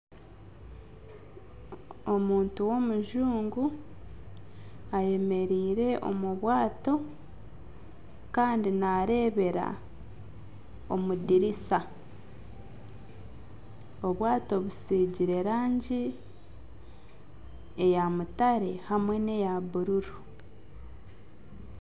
Omuntu w'omujungu ayemereire omu bwato Kandi narebera omu dirisa . Obwato busigiire erangi eya mutare hamwe neya bururu.